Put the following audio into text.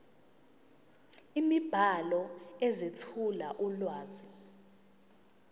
imibhalo ezethula ulwazi